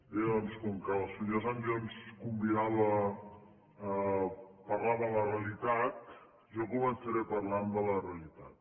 bé doncs com que el senyor sancho ens convidava a parlar de la realitat jo començaré parlant de la realitat